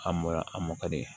A mɔ a mɔ ka di